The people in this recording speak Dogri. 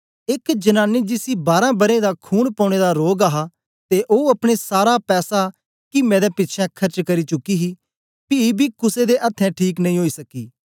एक जनानी जिसी बारां बरें दा खून पौने दा रोग हा ते ओ अपने सारा पैसा किमें दे पिछें खर्च करी चुकी ही पी बी कुसे दे अथ्थें ठीक नेई ओई सकी